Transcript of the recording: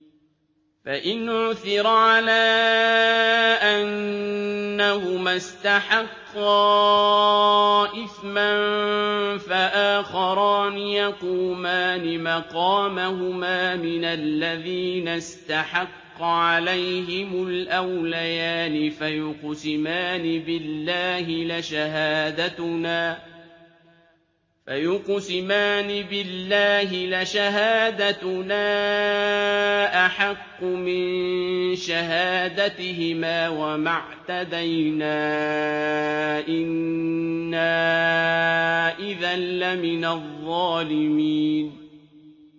فَإِنْ عُثِرَ عَلَىٰ أَنَّهُمَا اسْتَحَقَّا إِثْمًا فَآخَرَانِ يَقُومَانِ مَقَامَهُمَا مِنَ الَّذِينَ اسْتَحَقَّ عَلَيْهِمُ الْأَوْلَيَانِ فَيُقْسِمَانِ بِاللَّهِ لَشَهَادَتُنَا أَحَقُّ مِن شَهَادَتِهِمَا وَمَا اعْتَدَيْنَا إِنَّا إِذًا لَّمِنَ الظَّالِمِينَ